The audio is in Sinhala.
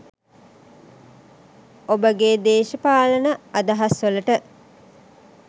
ඔබගේ දේශපාලන අදහස් වලට